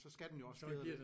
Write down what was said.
Så skal den jo også fjedre